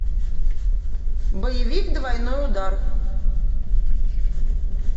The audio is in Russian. боевик двойной удар